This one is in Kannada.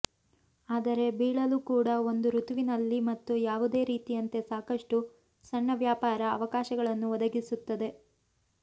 ಆದರೆ ಬೀಳಲು ಕೂಡ ಒಂದು ಋತುವಿನಲ್ಲಿ ಮತ್ತು ಯಾವುದೇ ರೀತಿಯಂತೆ ಸಾಕಷ್ಟು ಸಣ್ಣ ವ್ಯಾಪಾರ ಅವಕಾಶಗಳನ್ನು ಒದಗಿಸುತ್ತದೆ